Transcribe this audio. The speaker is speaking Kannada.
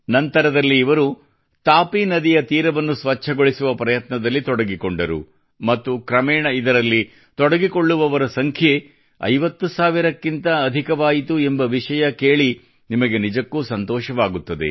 ನಂತರದಲ್ಲಿ ಇವರು ತಾಪಿ ನದಿಯ ತೀರವನ್ನು ಸ್ವಚ್ಛಗೊಳಿಸುವ ಪ್ರಯತ್ನದಲ್ಲಿ ತೊಡಗಿಕೊಂಡರು ಮತ್ತು ಕ್ರಮೇಣ ಇದರಲ್ಲಿ ತೊಡಗಿಕೊಳ್ಳುವವರ ಸಂಖ್ಯೆ 50 ಸಾವಿರಕ್ಕಿಂತ ಅಧಿಕವಾಯಿತು ಎಂಬ ವಿಷಯ ಕೇಳಿ ನಿಮಗೆ ನಿಜಕ್ಕೂ ಸಂತೋಷವಾಗುತ್ತದೆ